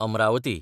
Amravati